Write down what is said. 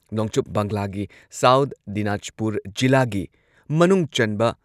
ꯅꯣꯡꯆꯨꯞ ꯕꯪꯒꯂꯥꯒꯤ ꯁꯥꯎꯊ ꯗꯤꯅꯥꯖꯄꯨꯔ ꯖꯤꯂꯥꯒꯤ ꯃꯅꯨꯡꯆꯟꯕ